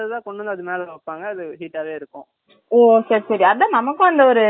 ஓ சரி சரி அதான் நம்மக்கும் அந்த ஒரு நம்மலாம் இது பண்ணுவாங்க இது இது